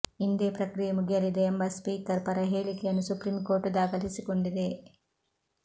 ಇಂದೇ ಪ್ರಕ್ರಿಯೆ ಮುಗಿಯಲಿದೆ ಎಂಬ ಸ್ಪೀಕರ್ ಪರ ಹೇಳಿಕೆಯನ್ನು ಸುಪ್ರೀಂಕೋರ್ಟ್ ದಾಖಲಿಸಿಕೊಂಡಿದೆ